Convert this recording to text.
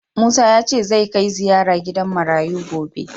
Musa ya ce zai kai ziraya gidan marayu gobe